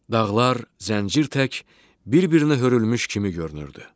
Dağlar zəncir tək bir-birinə hörülmüş kimi görünürdü.